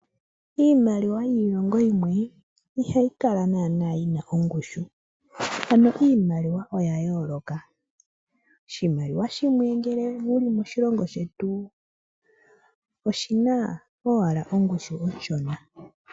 Iimaliwa yiilongo yimwe ihayi kala nana yina ongushu ano iimaliwa oya yooloka. Oshimaliwa shimwe ngeke wuli moshilongo shetu oshina owla ongushu onshona.